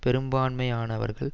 பெரும்பான்மையானவர்கள்